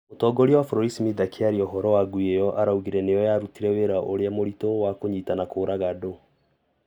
mũtongoria wa bũrũri Smith akĩaria ũhoro wa ngui ĩyo araugire nĩyo yarutire wĩra ũrĩa mũritũ wa kũnyiita na kũũraga Doe.